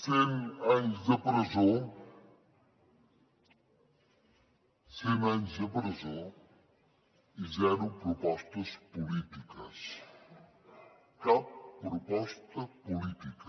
cent anys de presó cent anys de presó i zero propostes polítiques cap proposta política